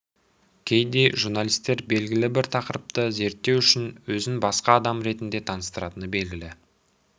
кейде журналистер белгілі бір тақырыпты зерттеу үшін өзін басқа адам ретінде таныстыратыны белгілі